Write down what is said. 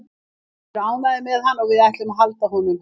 Við erum ánægðir með hann og við ætlum að halda honum.